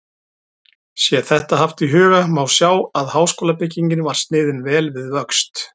Sé þetta haft í huga, má sjá, að háskólabyggingin var sniðin vel við vöxt.